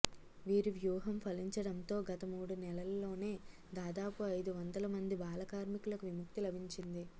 వీరి వ్యూహం ఫలించడంతో గత మూడు నెలల్లోనే దాదాపు ఐదు వందల మంది బాలకార్మికులకు విముక్తి లభించింది